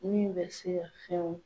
Min bɛ se ka fɛnw